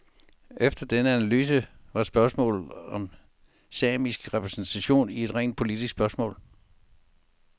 Efter denne analyse var spørgsmålet om samisk repræsentation et rent politisk spørgsmål.